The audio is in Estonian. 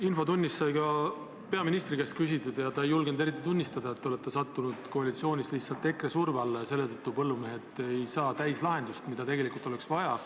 Infotunnis sai peaministri käest küsitud, kuid ta ei julgenud eriti tunnistada, et te olete koalitsioonis sattunud lihtsalt EKRE surve alla ja seetõttu ei saa põllumehed täislahendust, mida tegelikult oleks vaja.